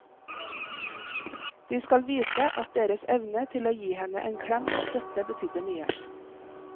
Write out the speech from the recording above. De skal vite at deres evne til å gi henne en klem og støtte betydde mye.